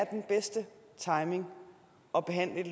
den bedste timing at behandle